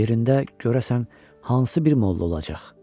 Yerində görəsən hansı bir molla olacaq?